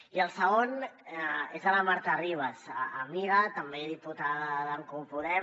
i el segon és a la marta ribas amiga també diputada d’en comú podem